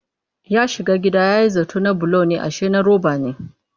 Ya shiga gida ya yi zaton na bulo ne ashe na roba ne